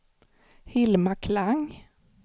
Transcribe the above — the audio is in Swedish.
Hilma Klang